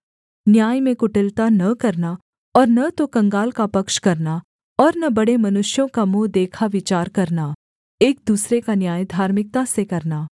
न्याय में कुटिलता न करना और न तो कंगाल का पक्ष करना और न बड़े मनुष्यों का मुँह देखा विचार करना एक दूसरे का न्याय धार्मिकता से करना